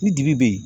Ni dibi be yen